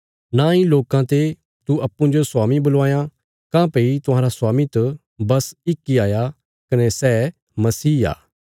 नांई लोकां ते तू अप्पूँजो स्वामी बुलवायां काँह्भई तुहांरा स्वामी त बस इक इ हाया कने सै मसीह आ